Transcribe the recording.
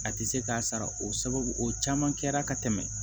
A tɛ se k'a sara o sababu o caman kɛra ka tɛmɛ